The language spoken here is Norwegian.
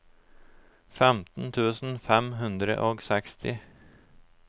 femten tusen fem hundre og seksti